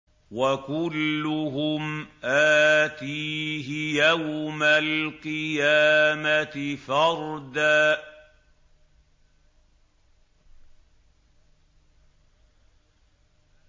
وَكُلُّهُمْ آتِيهِ يَوْمَ الْقِيَامَةِ فَرْدًا